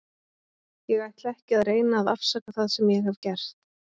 Ég ætla ekki að reyna að afsaka það sem ég hef gert.